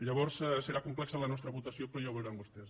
llavors serà complexa la nostra votació però ja ho veuran vostès